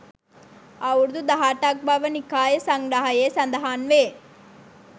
අවුරුදු 18 ක් බව නිකාය සංග්‍රහයේ සඳහන් වේ.